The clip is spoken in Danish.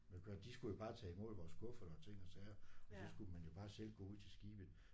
Men hvad de skulle jo bare tage imod vores kufferter og ting og sager og så skulle man jo bare selv gå ud til skibet